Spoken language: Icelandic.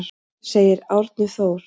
Segir Árni Þór.